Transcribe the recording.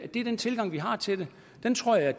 er den tilgang vi har til det den tror jeg